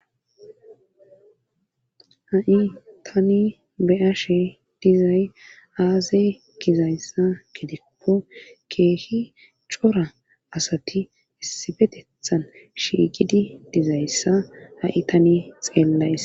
ha7i tani beyashe dizay aazay gizayssa gidikko keehi cora asati issibetethan shiigidi dizayssa ha7i tani xeellays